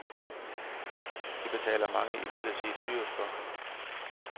Det betaler mange imidlertid dyrt for.